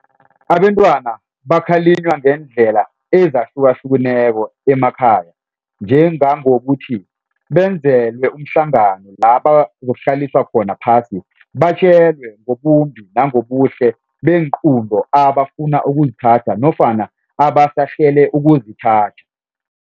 Abentwana bakhalinywa ngendlela ezahlukahlukeneko emakhaya njengangokuthi benzelwe umhlangano labazokuhlaliswa khona phasi batjelwe ngobumbi nangobuhle beenqunto abafuna ukuzithatha nofana abasahlele ukuzithatha.